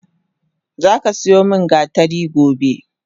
Zaka siyo min gatari gobe!